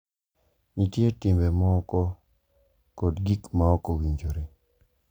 Nitie timbe moko kod gik ma ok owinjore,